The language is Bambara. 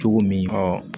Cogo min